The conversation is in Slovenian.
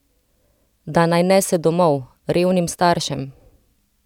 Da naj nese domov, revnim staršem!